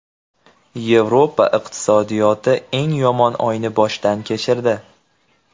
Yevropa iqtisodiyoti eng yomon oyni boshdan kechirdi.